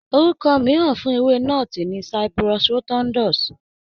Orúkọ mìíràn fún ewé nọ́ọ̀tì ni Cyperus rotundus.